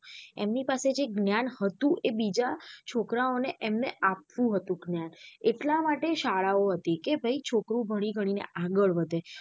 એમની પાસે જે જ્ઞાન હતું એ બીજા છોકરાઓ ને એમને આપવું હતું જ્ઞાન એટલા માટે શાળાઓ હતી કે ભાઈ છોકરું ભણી ગણી ને આગળ વધે.